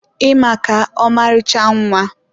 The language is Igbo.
ị maka, ọmarịcha nwa.